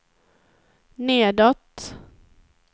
nedåt